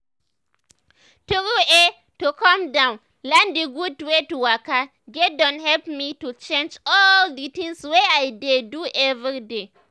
true eh to calm down learn d gud wey to waka get don help me to change all d tinz wey i dey do everyday.